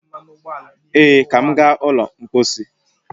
Ee, ka m gaa ụlọ mpọsị